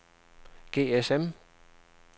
GSM